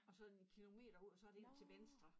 Og så en kilometer ud og så er det ind til venstre